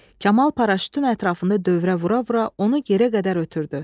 Kamal paraşütün ətrafında dövrə vura-vura onu yerə qədər ötürdü.